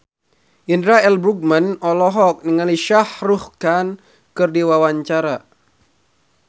Indra L. Bruggman olohok ningali Shah Rukh Khan keur diwawancara